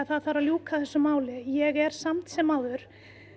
það þarf að ljúka þessu máli ég er samt sem áður